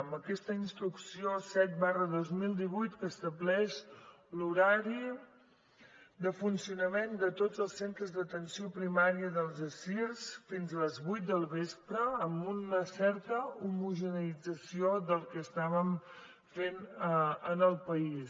amb aquesta instrucció set dos mil divuit que estableix l’horari de funcionament de tots els centres d’atenció primària i dels assirs fins a les vuit del vespre amb una certa homogeneïtzació del que estàvem fent en el país